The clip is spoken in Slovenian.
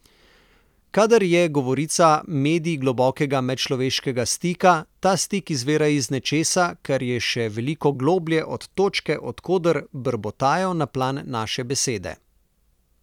Kadar je govorica medij globokega medčloveškega stika, ta stik izvira iz nečesa, kar je še veliko globlje od točke, od koder brbotajo na plan naše besede.